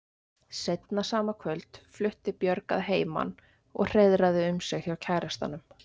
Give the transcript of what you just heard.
Seinna sama kvöld flutti Björg að heiman og hreiðraði um sig hjá kærastanum.